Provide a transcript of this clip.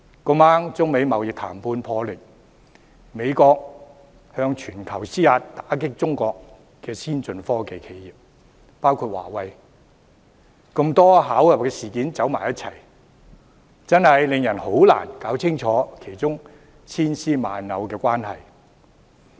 剛巧中美貿易談判破裂，美國向全球施壓以打擊包括華為的中國先進科技企業，種種事件巧合地一同發生，真的令人難以弄清當中千絲萬縷的關係。